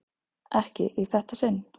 Ekki í þetta sinn.